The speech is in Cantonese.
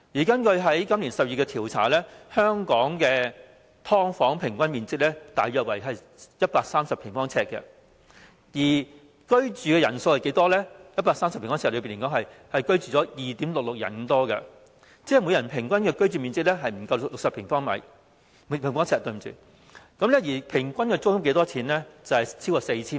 根據本年10月的調查顯示，香港的"劏房"平均面積約為130平方呎，而在這130平方呎內的居住人數竟然是 2.66 人，即每人的平均居住面積不足10平方呎，而平均租金卻超過 4,000 元。